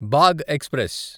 బాగ్ express